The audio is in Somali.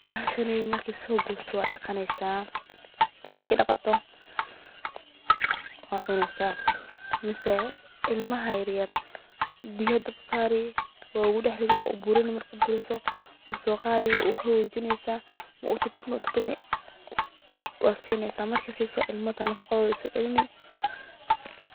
Bahashan marka lasoo gooyo waa ladaqaa, marka ladaqo waa lacunaa, ilmaha yar waa loo burburina waa lasiina.